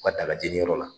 U ka dalajɛ yɔrɔ la